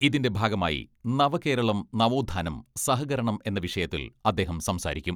ഇതിന്റെ ഭാഗമായി നവകേരളം നവോത്ഥാനം സഹകരണം എന്ന വിഷയത്തിൽ അദ്ദേഹം സംസാരിക്കും.